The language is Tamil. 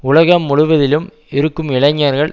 உலகம் முழுவதிலும் இருக்கும் இளைஞர்கள்